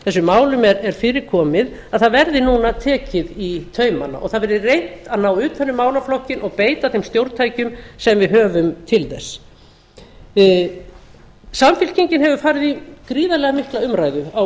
þessum málum er fyrir komið að það verði núna tekið í taumana og það verði reynt að ná utan um málaflokkinn og beita þeim stjórntækjum sem við höfum til þess samfylkingin hefur farið í gríðarlega mikla umræðu á